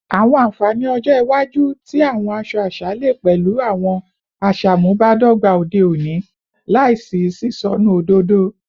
Awọn anfani ọjọ iwaju ti awọn aṣọ aṣa le pẹlu awọn aṣamubadọgba ode oni laisi sisọnu ododo